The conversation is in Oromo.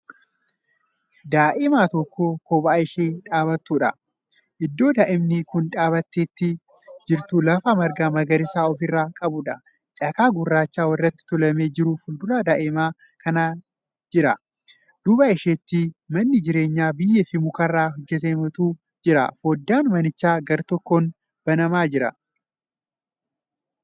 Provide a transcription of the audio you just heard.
Daa'ima tokko kophaa ishee dhaabattudha. iddoo daa'imni Kuni dhaabattee jirtu lafa marga magariisa ofirraa qabuudha. dhakaa gurraacha walirratti tuulamee jiru fuundura daa'ima kanaa jira. duuba isheetti manni jireenyaa biyyeefi mukarraa hojjatametu jira. foddaan manichaa gartokkoon banamee Jira.